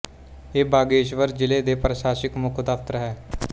ਇਹ ਬਾਗੇਸ਼੍ਵਰ ਜ਼ਿਲ੍ਹੇ ਦੇ ਪ੍ਰਸ਼ਾਸਕੀ ਮੁੱਖ ਦਫਤਰ ਹੈ